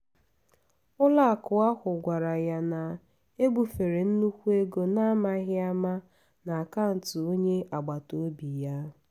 ụlọakụ ahụ gwara ya na ebufere nnukwu ego n’amaghi ama n’akaụntụ onye agbata obi ya.